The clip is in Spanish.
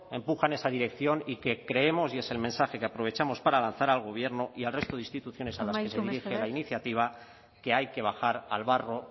empuja en esa dirección y que creemos y es el mensaje que aprovechamos para lanzar al gobierno y al resto de instituciones a las que se dirige la iniciativa que hay que bajar al barro